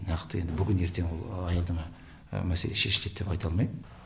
нақты енді бүгін ертең ол аялдама мәселе шешіледі деп айта алмайм